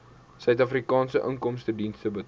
suidafrikaanse inkomstediens betaal